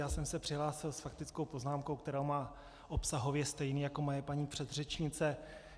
Já jsem se přihlásil s faktickou poznámkou, kterou mám obsahově stejnou jako moje paní předřečnice.